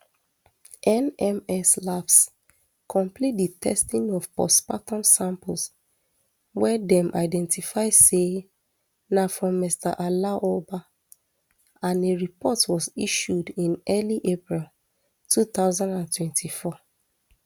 nms labs complete di testing of postmortem samples wey dem identify say na from mr aloba and a report was issued in early april two thousand and twenty-four